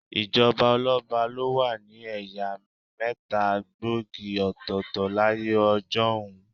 Ìjọba ọlọ́ba ló wà ní ẹ̀yà mẹ́ta gbòógì òtọ̀ọ̀tọ̀ láyé ọjọ́un.